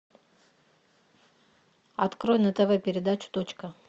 открой на тв передачу точка